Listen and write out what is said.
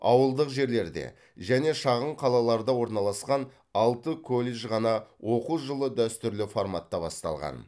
ауылдық жерлерде және шағын қалаларда орналасқан алты колледжде ғана оқу жылы дәстүрлі форматта басталған